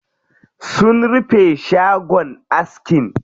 Sun rufe shagon askin.